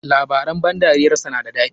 Labaran ban dariyar sa na da dadi.